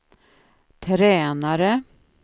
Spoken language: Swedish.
tränare